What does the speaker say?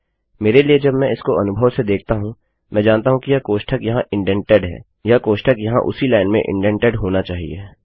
मेरे लिए जब मैं इसको अनुभव से देखता हूँमैं जानता हूँ कि यह कोष्ठक यहाँ इन्डेन्टेड है वह कोष्ठक यहाँ उसी लाइन में इन्डेन्टेड होना चाहिए